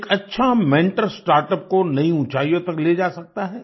एक अच्छा mentor startup को नई ऊँचाइयों तक ले जा सकता है